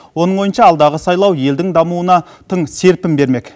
оның ойынша алдағы сайлау елдің дамуына тың серпін бермек